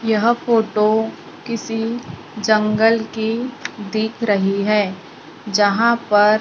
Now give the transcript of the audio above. यह फोटो किसी जंगल की दिख रही है जहां पर--